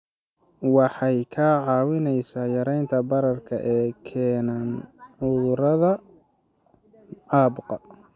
Waxay kaa caawinaysaa yaraynta bararka ay keenaan cudurrada caabuqa.